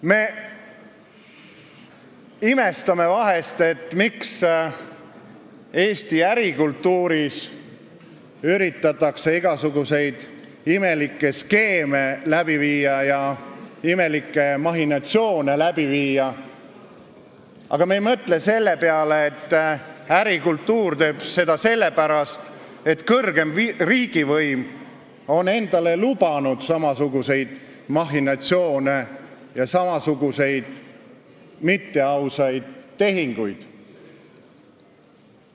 Me imestame vahest, miks Eesti ärikultuuris üritatakse igasuguseid imelikke skeeme ja imelikke mahhinatsioone läbi viia, aga me ei mõtle selle peale, et ärikultuur sallib seda sellepärast, et kõrgem riigivõim on endale lubanud samasuguseid mahhinatsioone ja samasuguseid mitteausaid tehinguid.